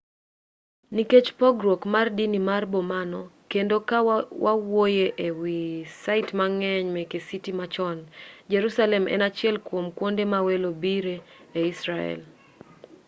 nikech pogruok mar dini mar bomano kendo ka wawuoye e wi sait mang'eny meke citi machon jerusalem en achiel kuom kuonde ma welo bire e israel